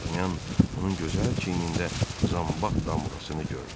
Dartanyan onun gözəl çiynində zambaq damğasını gördü.